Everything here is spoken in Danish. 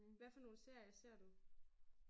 Men hvad for nogen serier ser du?